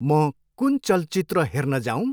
म कुन चलचित्र हेर्न जाऊँ?